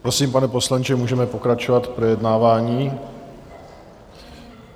Prosím, pane poslanče, můžeme pokračovat v projednávání.